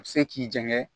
A bɛ se k'i janɲa kɛ